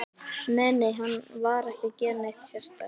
Nei, nei, hann var ekki að gera neitt sérstakt.